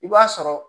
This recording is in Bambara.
I b'a sɔrɔ